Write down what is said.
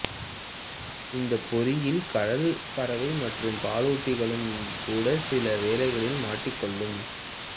இந்தப் பொறியில் கடல் பறவை மற்றும் பாலூட்டிகளும் கூடச் சில வேளைகளில் மாட்டிக்கொள்ளும்